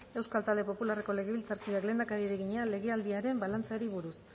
euskal talde popularreko legebiltzarkideak lehendakariari egina legealdiaren balantzeari buruz